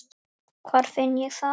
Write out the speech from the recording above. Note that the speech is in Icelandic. Hvar finn ég það?